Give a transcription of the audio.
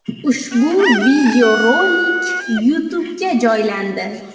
Ushbu videorolik YouTube’ga joylandi .